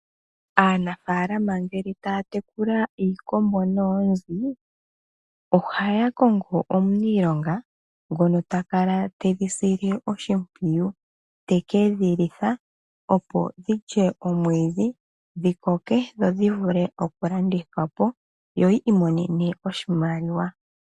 Aanafalama ngele taya tekula iikombo noonzi, ohaya kongo omuniilonga ngono ta kala tedhi sile oshimpwiyu. Te ke dhi litha opo dhilye omwiidhi dhi koke dho odhi vule okulandithwa po, yo yi imonene oshimaliwa.